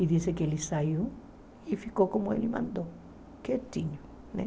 E diz que ele saiu e ficou como ele mandou, quietinho né.